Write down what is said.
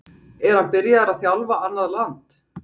Er hann byrjaður að þjálfa annað land?